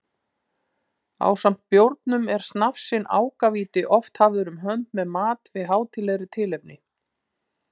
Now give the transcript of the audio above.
Ásamt bjórnum er snafsinn ákavíti oft hafður um hönd með mat við hátíðlegri tilefni.